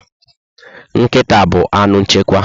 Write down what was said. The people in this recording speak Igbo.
Nkịta bu anụ nchekwa